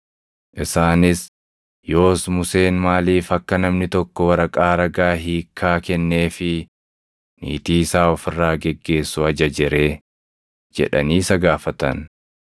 Isaanis, “Yoos Museen maaliif akka namni tokko waraqaa ragaa hiikkaa kenneefii niitii isaa of irraa geggeessu ajaje ree?” jedhanii isa gaafatan.